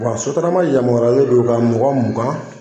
Wa sotarama yamaruyalen do ka mɔgɔ mugan